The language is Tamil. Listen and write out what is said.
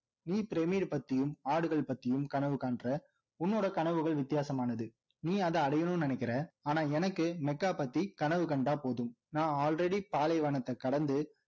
நீ பிரமிடு பத்தியும் ஆடுகள் பத்தியும் கனவு காணுற உன்னோட கனவுகள் வித்தியாசமானது நீ அதை அடையணும்னு நினைக்கிற ஆனா எனக்கு மெக்கா பத்தி கனவு கண்டா போதும் நான் already பாலைவனத்த கடந்து